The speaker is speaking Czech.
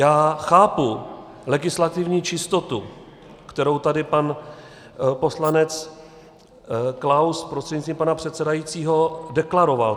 Já chápu legislativní čistotu, kterou tady pan poslanec Klaus prostřednictvím pana předsedajícího deklaroval.